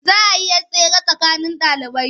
Za a yi 'yar tsere a tsakanin ɗalibai.